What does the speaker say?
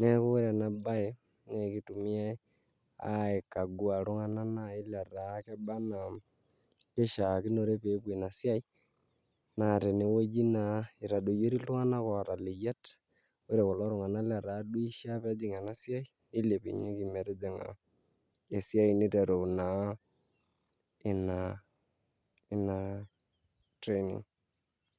neaku ore enabaye naakeitumiai aikagua iltung'ana nai letaa kebaa anaa keishaakinore peepuo inasiai naa tenewueji naa eitadoyori iltung'anak oata leyiat, ore kulo tung'anak letaa duo eishaa peejing' enasiai neilepunyeki metijing'a esiai neiteru naa ina inaa training.